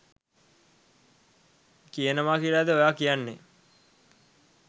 කියනවා කියලද ඔයා කියන්නේ?